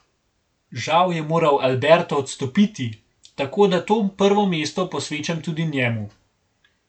Žal je moral Alberto odstopiti, tako da to prvo mesto posvečam tudi njemu.